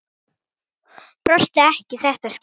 Brosti ekki í þetta skipti.